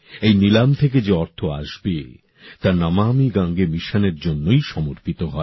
এই নীলাম থেকে যে অর্থ আসবে তা নমামি গঙ্গে মিশনের জন্যই সমর্পিত হয়